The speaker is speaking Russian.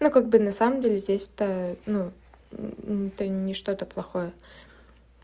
ну как бы на самом деле здесь-то ну нечто-то плохое